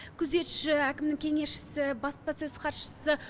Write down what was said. күзетші әкімнің кеңесшісі баспасөз хатшысы